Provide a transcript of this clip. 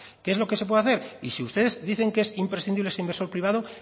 qué es lo que se puede hacer y si ustedes dicen que es imprescindible ese inversor privado